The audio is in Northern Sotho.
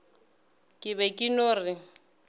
ke be ke no re